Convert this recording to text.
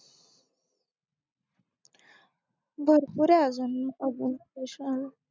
भरपूरये अगं अजून